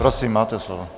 Prosím, máte slovo.